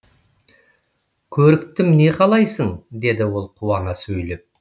көріктім не қалайсың деді ол қуана сөйлеп